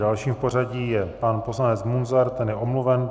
Dalším v pořadí je pan poslanec Munzar, ten je omluven.